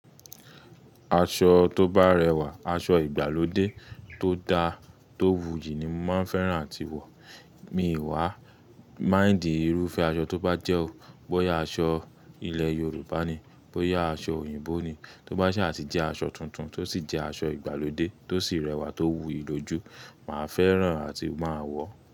Aṣọ tó bá rẹwà, aṣọ ìgbàlódé tó dára tó wuyì ni màá fẹ́ràn láti wọ̀. Mi wa mind iru fẹ aṣọ to ba jẹ o boya aṣọ ilẹ Yorùbá ni boya aṣọ òyìnbó ni tó bá sì à ti jẹ́ aṣọ tuntun tó sì jẹ́ aṣọ ìgbàlódé tó sì rẹwà tó wuyì lójú, máa fẹ́ràn àti máa wọ̀.